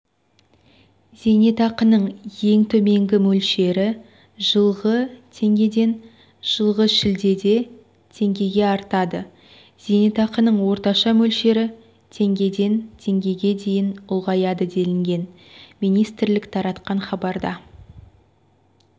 зейнетақының ең төменгі мөлшері жылғы теңгеден жылғы шілдеде теңгеге артады зейнетақының орташа мөлшері теңгеден теңгеге дейін ұлғаяды делінген министрлік таратқан хабарда